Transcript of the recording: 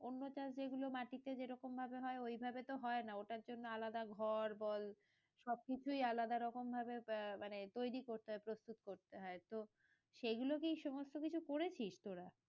অন্য চাষ যেগুলো মাটিতে জেরোকম ভাবে হয় ঐভাবে তো হয়না ওটার জন্য আলাদা ঘর বল সবকিছুই আলাদা রকম ভাবে আহ মানে তৈরী করতে হয় প্রস্তুত করতে হয় তো সেগুলো কি সমস্ত কিছু করেছিস তোরা?